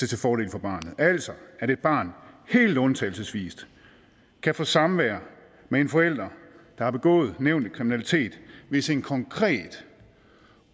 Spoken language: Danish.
til fordel for barnet altså at et barn helt undtagelsesvis kan få samvær med en forælder der har begået nævnte kriminalitet hvis en konkret